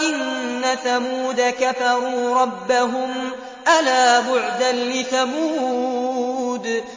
إِنَّ ثَمُودَ كَفَرُوا رَبَّهُمْ ۗ أَلَا بُعْدًا لِّثَمُودَ